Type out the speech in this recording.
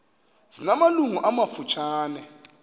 zina malungu amafutshane